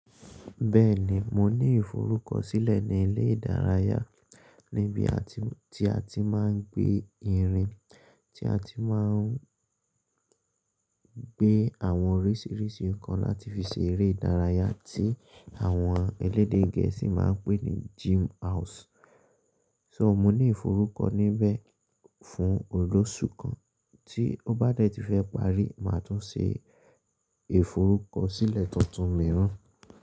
Bẹ́ẹ̀ni, mi ní ìforúkọ sílẹ̀ ní ilé ìdárayá níbi tí àti máa ń gbé irin tí a ti máa ń gbé àwọn oríṣiríṣi nǹkan láti fi ṣe eré ìdárayá tí àwọn elédè gẹ̀ẹ́sì máa ń pè ní gym house. So mo ní ìforúkọ̀ níbẹ̀ fún ọlọ́ṣù kan, tí ó bá dẹ́ ti fẹ́ parí, màá tún ṣe ìforúkọ̀sílẹ̀ tuntun mìíràn.